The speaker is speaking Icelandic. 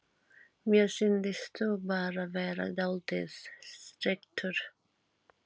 Mér sýndist þú bara vera dáldið strekktur.